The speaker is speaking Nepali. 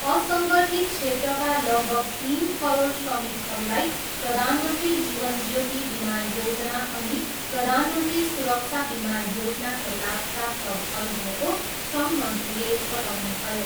असङ्गठित क्षेत्रका लगभग तिन करोड श्रमिकहरूलाई प्रधानमन्त्री जीवन ज्योति बिमा योजना अनि प्रधानमन्त्री सुरक्षा बिमा योजनाको लाभ प्राप्त भइरहेको श्रम मन्त्रीले बताउनुभयो।